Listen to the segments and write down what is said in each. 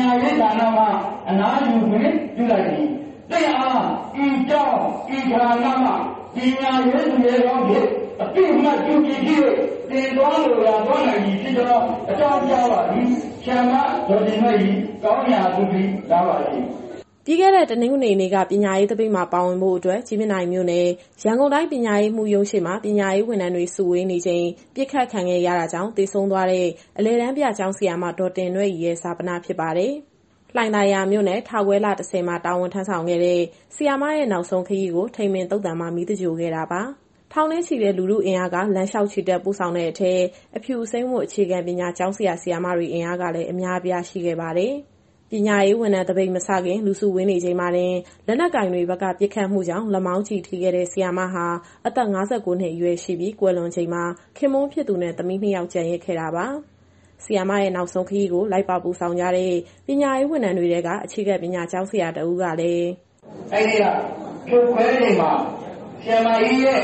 ညာရေးဌာနမှ အနားယူခွင့် ပြုလိုက်သည်။ သင့်အား ဤကျောင်း၊ ဤဌာနမှ ပညာရေးသူရဲကောင်းအဖြစ် အသိအမှတ်ပြုပြီ ဖြစ်၍ သင်သွားလိုရာ သွားနိုင်ပြီဖြစ်ကြောင်း အကြောင်းကြားပါသည်။ ဆရာမ ဒေါ်တင်နွဲ့ရီ ကောင်းရာသုဂတိ လားပါစေ...။" ပြီးခဲ့တဲ့ တနင်္ဂနွေနေ့က ပညာရေးသပိတ်မှာ ပါဝင်ဖို့အတွက် ကြည်မြင့်တိုင်မြို့နယ်၊ ရန်ကုန်တိုင်း ပညာရေးမှူးရုံးရှေ့မှာ ပညာရေးဝန်ထမ်းတွေ စုဝေးနေချိန် ပစ်ခတ်ခံရတာကြောင့် သေဆုံးသွားတဲ့ အလယ်တန်းပြ ကျောင်းဆရာမ ဒေါ်တင်နွဲ့ရီရဲ့ ဈာပနဖြစ်ပါတယ်။ လှိုင်သာယာမြို့နယ်၊ ထခွဲလ ၁၀ မှာ တာဝန်ထမ်းဆောင်ခဲ့တဲ့ ဆရာမရဲ့ နောက်ဆုံးခရီးကို ထိန်ပင်သုဿာန်မှာ မီးသင်္ဂြိုလ်ခဲ့တာပါ။ ထောင်နဲ့ချီတဲ့ လူထုအင်အားက လမ်းလျှောက်ချီတက် ပို့ဆောင်တဲ့အထဲ အဖြူ အစိမ်းဝတ် အခြေခံပညာ ကျောင်းဆရာ၊ ဆရာမတွေ အင်အားကလည်း အများအပြား ရှိနေခဲ့ပါတယ်။ ပညာရေးဝန်ထမ်းသပိတ် မစခင် လူစုဝေးနေချိန်မှာတင် လက်နက်ကိုင်တွေဘက်က ပစ်ခတ်မှုကြောင့် လက်မောင်းကျည်ထိခဲ့တဲ့ ဆရာမဟာ အသက် ၅၉ နှစ်အရွယ်ရှိပြီး၊ ကွယ်လွန်ချိန်မှာ ခင်ပွန်းဖြစ်သူနဲ့ သမီးနှစ်ယောက် ကျန်ရစ်ခဲ့တာပါ။ ဆရာမရဲ့ နောက်ဆုံးခရီးကို လိုက်ပါပို့ဆောင်ကြတဲ့ ပညာရေးဝန်ထမ်းတွေထဲက အခြေခံပညာကျောင်းဆရာတဦးကလည်း... "အဲဒီနေ့က ဖြိုခွဲချိန်မှာ ဆရာမကြီးရဲ့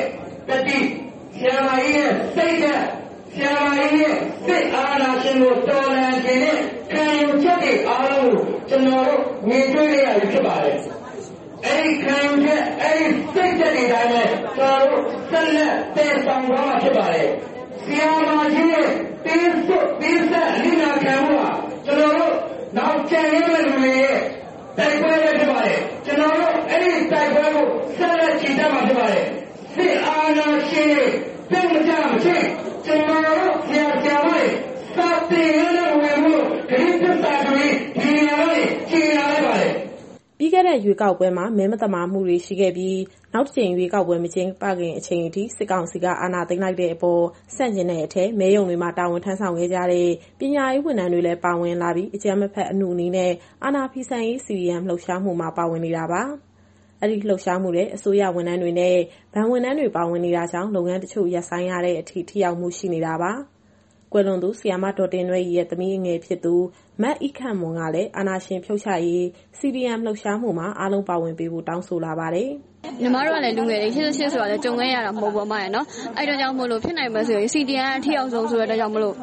သတ္တိ၊ ဆရာမကြီးရဲ့စိတ်ဓာတ်၊ ဆရာမကြီးရဲ့ စစ်အာဏာရှင်ကို တော်လှန်ချင်တဲ့ ခံယူချက်တွေအားလုံးကို ကျနော်တို့မြင်တွေ့ခဲ့ရပြီ ဖြစ်ပါတယ်။ အဲဒီ ခံယူချက်၊ အဲဒီ စိတ်ဓာတ်တွေအတိုင်းပဲ ကျနော်တို့ ဆက်လက်သယ်ဆောင်သွားမှာ ဖြစ်ပါတယ်။ ဆရာမကြီးရဲ့ သွေးစွန်းပေးဆပ် အနစ်နာခံမှုဟာ ကျနော်တို့ နောင်ကျန်ရစ်မယ့်လူတွေရဲ့ တိုက်ပွဲပဲဖြစ်ပါတယ်။ ကျနော်တို့ အဲဒီတိုက်ပွဲကို ဆက်လက်ချီတက်မှာ ဖြစ်ပါတယ်။ စစ်အာဏာရှင်တွေ ပြုတ်မကျမချင်း ကျနော်တို့ဆရာ၊ ဆရာမတွေ စာသင်ခန်းထဲမဝင်ဘူးလို့ ကတိသစ္စာပြုရင်း ဒီနေရာကနေ ကြေညာလိုက်ပါတယ်။" ပြီးခဲ့တဲ့ ရွေးကောက်ပွဲမှာ မဲမသမာမှုတွေ ရှိခဲ့ပြီး နောက်တကြိမ် ရွေးကောက်ပွဲ မကျင်းပခင်အချိန်ထိ စစ်ကောင်စီက အာဏာသိမ်းလိုက်တဲ့အပေါ်ဆန့်ကျင်တဲ့အထဲ မဲရုံတွေမှာ တာဝန်ထမ်းဆောင်ခဲ့ကြတဲ့ ပညာရေးဝန်ထမ်းတွေလည်း ပါဝင်လာပြီး အကြမ်းမဖက် အနုနည်းနဲ့ အာဏာဖီဆန်ရေး CDM လှုပ်ရှားမှုမှာ ပါဝင်နေတာပါ။ အဲဒီလှုပ်ရှားမှုထဲ အစိုးရဝန်ထမ်းတွေနဲ့ ဘဏ်ဝန်ထမ်းတွေ ပါဝင်နေတာကြောင့် လုပ်ငန်းတချို့ ရပ်ဆိုင်းထားရတဲ့အထိ ထိရောက်မှုရှိနေတာပါ။ ကွယ်လွန်သူ ဆရာမ ဒေါ်တင်နွဲ့ရီရဲ့ သမီးအငယ်ဖြစ်သူ မအိခန့်မွန်ကလည်း အာဏာရှင်ဖြုတ်ချနိုင်ရေး CDM လှုပ်ရှားမှုမှာ အားလုံးပါဝင်ပေးဖို့ တောင်းဆိုလာပါတယ်။ "ညီမတို့က လူငယ်တွေ ၈၈ ဆိုတာလည်း ကြုံခဲ့ရတာ မဟုတ်ဘူးပေါ့ အမရယ်။ အဲဒီအတွက်ကြောင့်မို့ ဖြစ်နိုင်မယ်ဆိုရင် CDM က အထိရောက်ဆုံးဆိုတဲ့အတွက်ကြောင့်မို့လို့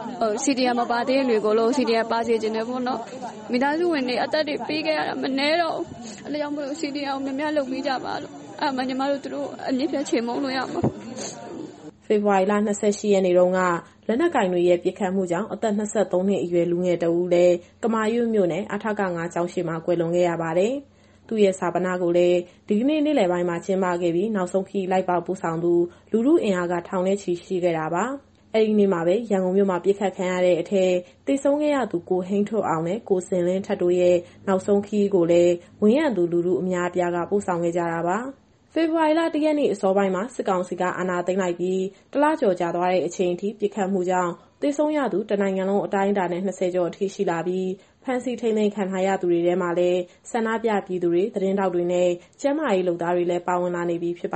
CDM မလုပ်သေးတဲ့သူတွေအားလုံးကို CDM ပါစေချင်တယ်ပေါ့နော်။ မိသားစုဝင်တွေ အသက်တွေပေးခဲ့ရတာ မနည်းတော့ဘူး။ အဲဒါကြောင့်မို့လို့ CDM ကို များများလုပ်ပေးကြပါလို့။ အဲဒါမှ ညီမတို့ သူတို့ကို အမြှစ်ဖြတ်ချေမှုန်းလို့ ရမှာ။" ဖေဖော်ဝါရီ ၂၈ ရက်နေ့တုန်းက လက်နက်ကိုင်တွေရဲ့ ပစ်ခတ်မှုကြောင့် အသက် ၂၃ နှစ်အရွယ် လူငယ်တဦးလည်း ကမာရွတ်မြို့နယ်၊ အထက ၅ ကျောင်းရှေ့မှာ ကွယ်လွန်ခဲ့ရပါတယ်။ သူ့ရဲ့ဈာပနကိုလည်း ဒီကနေ့ နေ့လယ်ပိုင်းမှာ ကျင်းပခဲ့ပြီး နောက်ဆုံးခရီးလိုက်ပါပို့ဆောင်သူ လူထုအင်အား ထောင်ချီရှိခဲ့ပါတယ်။ အဲဒီနေ့မှာပဲ ရန်ကုန်မြို့မှာ ပစ်ခတ်ခံရတဲ့အထဲ သေဆုံးခဲ့ရသူ ကိုဟိန်းထွဋ်အောင်နဲ့ ကိုဇင်လင်းထက်တို့ရဲ့ နောက်ဆုံးခရီးကိုလည်း ဝန်းရံသူလူထုအများအပြားက ပို့ဆောင်ခဲ့ကြတာပါ။ ဖေဖော်ဝါရီလ ၁ ရက်နေ့ အစောပိုင်းမှာ စစ်ကောင်စီက အာဏာသိမ်းလိုက်ပြီး တလကျော်ကြာသွားတဲ့အချိန်ထိ ပစ်ခတ်မှုကြောင့် သေဆုံးရသူ တနိုင်ငံလုံးအတိုင်းအတာနဲ့ ၂၀ ကျော်ရှိလာပြီး ဖမ်းဆီး ထိန်းသိမ်းခံရသူတွေထဲမှာလည်း ဆန္ဒပြပြည်သူတွေ၊ သတင်းထောက်တွေနဲ့ ကျန်းမာရေးလုပ်သားတွေလည်း ပါဝင်လာနေပြီ ဖြစ်ပါ